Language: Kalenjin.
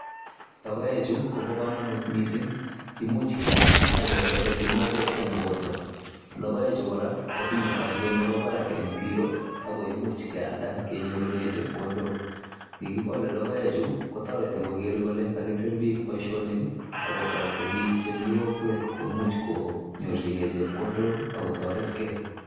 Logoechu kobo komonut mising, imuch keam ak ketesen kimnatet en borto. Logoechu kora kotinye olyet nemi barak en siro ago imuch kealda kenyorune chepkondok. Ye kigolevlogoechu kotoretikoger kole kagisir boisionik ago toreti biik chemi kokwet koger kole kaimuch konyorjige chepkondok ago toret ge.